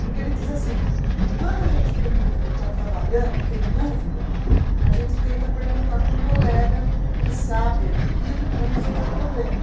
Porque ele diz assim, quando a gente tem dúvida, está trabalhando e tem dúvida, a gente tenta perguntar para um colega que sabe aquilo para resolver o problema.